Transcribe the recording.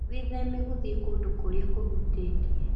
Wĩthema gũthiĩ kũndũ kũrĩa kũhutĩtie.